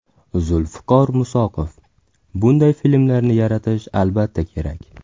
Zulfiqor Musoqov: Bunday filmlarni yaratish, albatta, kerak.